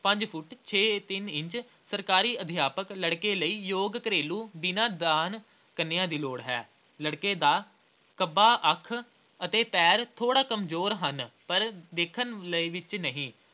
ਪੰਜ ਫੁੱਟ ਛੇ ਅਹ ਤਿੰਨ ਇੰਚ ਸਰਕਾਰੀ ਅਧਿਆਪਕ ਲੜਕੇ ਲਈ ਯੋਗ ਘਰੇਲੂ ਬਿਨਾਂ ਦਾਜ ਕੰਨੀਆ ਦੀ ਲੋੜ ਹੈ, ਲੜਕੇ ਦਾ ਖੱਬਾ ਅੱਖ ਅਤੇ ਪੈਰ ਥੋੜਾ ਕਮਜ਼ੋਰ ਹਨ ਪਰ ਦੇੇਖਣ ਦੇ ਵਿੱਚ ਨਹੀਂ ।